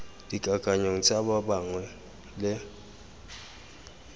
dikakanyong tsa ba bangwe le